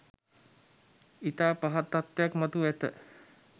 ඉතා පහත් තත්වයක් මතුව ඇත